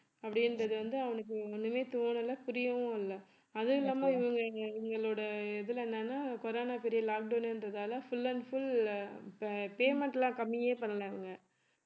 அப்படின்றது வந்து அவனுக்கு ஒண்ணுமே தோணல புரியவும் இல்லை அதுவும் இல்லாம இவங்க இவங்களோட இதுல என்னன்னா corona பெரிய lockdown ன்றதால full and full இப்ப payment எல்லாம் கம்மியே பண்ணலைங்க